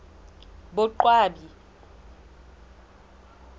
boqwabi